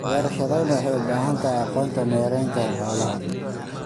Beerashadani waxay u baahan tahay aqoonta maaraynta xoolaha.